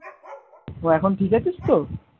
তো এখন ঠিক আছিস তো?